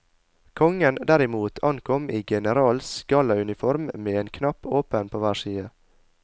Kongen, derimot, ankom i generals gallauniform med en knapp åpen på hver side.